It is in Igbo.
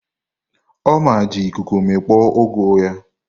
Ọma ji ikuku mikpọ ugu ahụ.